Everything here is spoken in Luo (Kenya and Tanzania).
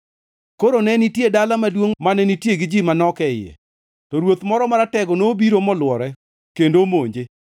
Koro ne nitie dala maduongʼ mane nitie gi ji manok e iye. To ruoth moro maratego nobiro molwore kendo omonje.